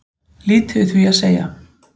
Lítið við því að segja